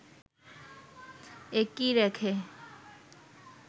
একই রেখে